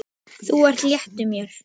Þú ert léttur, þykir mér!